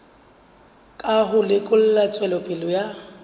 ka ho lekola tswelopele ya